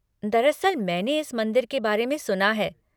दरअसल मैंने इस मंदिर के बारे में सुना है।